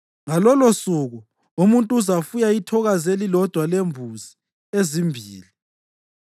Ngalolosuku umuntu uzafuya ithokazi elilodwa lembuzi ezimbili.